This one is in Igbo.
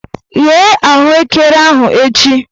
Ghee ahụekere ahụ echi!